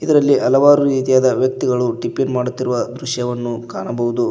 ಇದರಲ್ಲಿ ಹಲವಾರು ರೀತಿಯಾದ ವ್ಯಕ್ತಿಗಳು ಟಿಫಿನ್ ಮಾಡುತ್ತಿರುವ ದೃಶ್ಯವನ್ನು ಕಾಣಬಹುದು.